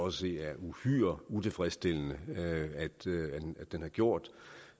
at se er uhyre utilfredsstillende den har gjort